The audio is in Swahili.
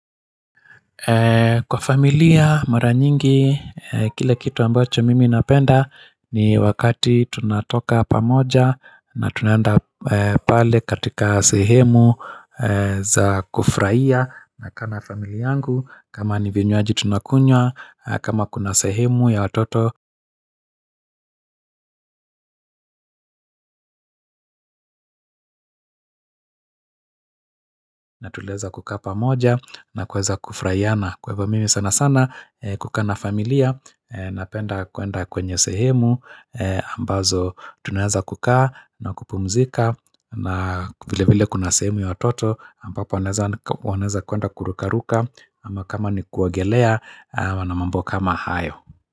Kwa familia, mara nyingi, kile kitu ambacho mimi napenda ni wakati tunatoka pamoja na tunaenda pale katika sehemu za kufuraia nakaa na familia yangu, kama ni vinywaji tunakunywa, kama kuna sehemu ya watoto na tuleza kuka pamoja na kuweza kufurahiana kwa hivo mimi sana sana kuka na familia Napenda kuenda kwenye sehemu ambazo tunaeza kukaa na kupumzika na vile vile kuna sehemu ya watoto ambapo wanaza kuenda kurukaruka ama kama ni kuogelea ama na mambo kama hayo.